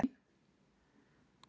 Og hún komin aftur heim.